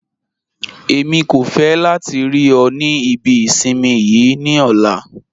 Ẹ̀mi kò fẹ́ látì rí ọ̀ ní ìbí ìṣinmí yii ní ọ̀lá